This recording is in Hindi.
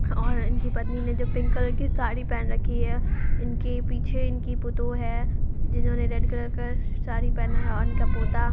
और इनकी पत्नी ने जो पिंक कलर की साड़ी पेहेना रखी है। इनके पीछे इनकी पतोह है जिन्होंने रेड कलर का सारी पेहेना है और इनका पोता--